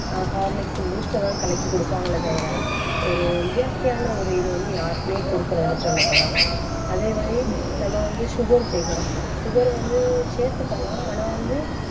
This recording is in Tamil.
ஆஹ் horlicks, boost அதான் கலக்கி கொடுப்பாங்களே தவிர, ஒரு இயற்கையான ஒரு இது வந்து யாருக்குமே கொடுக்கிறது இல்லை, சொல்லப் போனா. அதே மாதிரி, நம்ம வந்து sugar சேர்க்கிறோம் sugar வந்து சேர்த்துக்கலாம். ஆனால் வந்து,